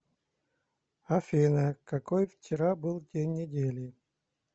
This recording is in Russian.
афина какой вчера был день недели